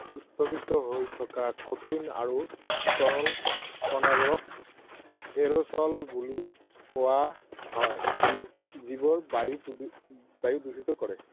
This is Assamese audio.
স্থগিত হৈ থকা কঠিন আৰু তৰল কণাবোৰক Aerosol বুলি কোৱা হয় যিবোৰে বায়ু দূষিত কৰে।